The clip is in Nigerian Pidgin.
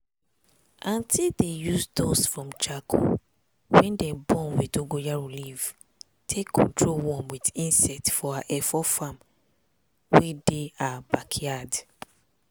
auntie dey use dust from charcoal wey dem burn wit dongoyaro leaf take control worm wit insect for her efo farm wey dey her backyard.